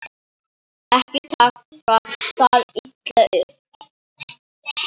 Ekki taka það illa upp.